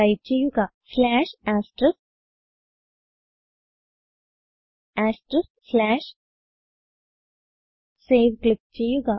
type ചെയ്യുക save click ചെയ്യുക